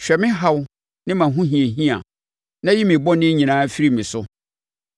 Hwɛ me haw ne mʼahohiahia na yi me bɔne nyinaa firi me so.